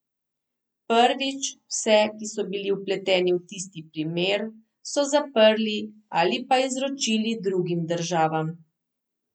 Prvič, vse, ki so bili vpleteni v tisti primer, so zaprli ali pa izročili drugim državam.